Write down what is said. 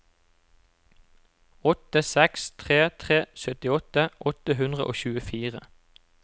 åtte seks tre tre syttiåtte åtte hundre og tjuefire